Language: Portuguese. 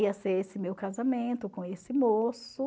Ia ser esse meu casamento com esse moço.